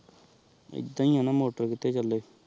ਆਈਦਾ ਹੀ ਆਹ ਨਾ ਮੋਟਰ ਕਿਥੇ ਚਲੇਗੀ